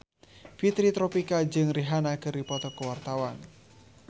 Fitri Tropika jeung Rihanna keur dipoto ku wartawan